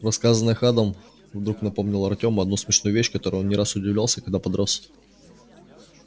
рассказанное ханом вдруг напомнило артему одну смешную вещь которой он не раз удивлялся когда подрос